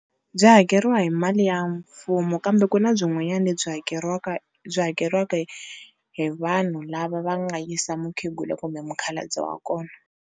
Byi hakeriwa hi mali ya mfumo kambe ku na byin'wanyana lebyi hakeriwaka byi hakeriweka hi vanhu lava va nga yisa mukhegula kumbe mukhalabye wa kona.